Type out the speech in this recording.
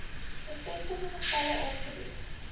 bevestigde gevalle aangebied